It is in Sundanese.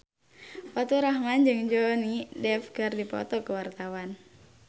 Faturrahman jeung Johnny Depp keur dipoto ku wartawan